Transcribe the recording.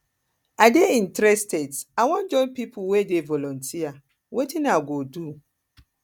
i dey interested i wan join pipo wey dey volunteer wetin i go do